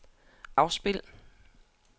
afspil